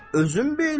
Özün bil.